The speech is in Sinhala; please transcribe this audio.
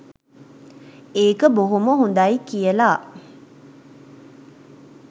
ඒක බොහොම හොඳයි කියලා.